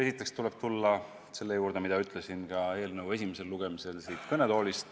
Esiteks tuleb tulla selle juurde, mida ma ütlesin ka eelnõu esimesel lugemisel siit kõnetoolist.